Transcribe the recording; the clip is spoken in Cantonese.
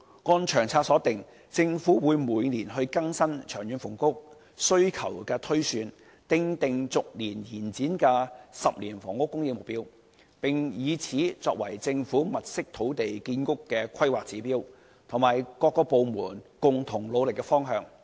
按《長策》所訂，政府會每年更新長遠房屋需求推算，訂定逐年推展的10年房屋供應目標，並以此作為政府物色土地建屋的規劃指標，以及各部門共同努力的方向。